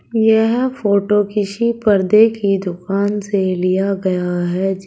यह फोटो किसी पर्दे की दुकान से लिया गया है जे--